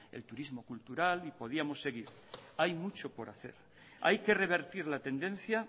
el turismo cultural y podíamos seguir hay mucho por hacer hay que revertir la tendencia